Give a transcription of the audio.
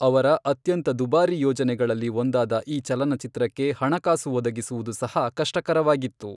ಅವರ ಅತ್ಯಂತ ದುಬಾರಿ ಯೋಜನೆಗಳಲ್ಲಿ ಒಂದಾದ ಈ ಚಲನಚಿತ್ರಕ್ಕೆ ಹಣಕಾಸು ಒದಗಿಸುವುದು ಸಹ ಕಷ್ಟಕರವಾಗಿತ್ತು.